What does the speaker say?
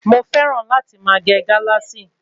Mo fẹ́ràn láti máa gẹ Galasi